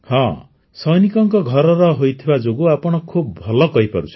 ହଁ ସୈନିକଙ୍କ ଘରର ହୋଇଥିବା ଯୋଗୁଁ ଆପଣ ଖୁବ ଭଲ କହିପାରୁଛନ୍ତି